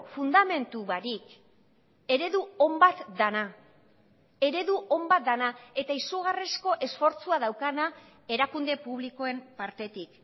fundamentu barik eredu on bat dena eredu on bat dena eta izugarrizko esfortzua daukana erakunde publikoen partetik